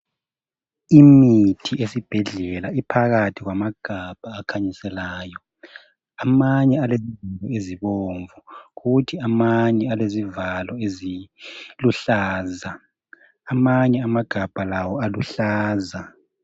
Imithi esibhedlela iphakathi kwamagabha akhanyiselayo. Amanye alezivalo ezibomvu kuthi amanye alezivalo eziluhlaza. Amanye amagabha lawo aluhlaza.